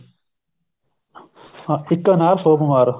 ਹਾਂ ਇੱਕ ਅਨਾਰ ਸੋ ਬੀਮਾਰ